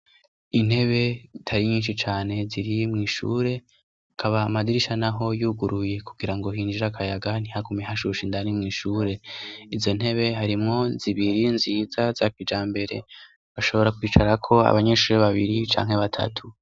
Intebe tari nyinshi cane zirimw'ishure kaba amadirisha na ho yuguruye kugira ngo hinjira akayaga ntihagume hashusha indani mw'ishure izo ntebe harimwo zibiri nziza zakijambere bashobora kwicarako abanyenshuri babiri canke batatu.